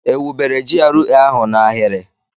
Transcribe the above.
Ewubere GRA ahụ n'ahịrị?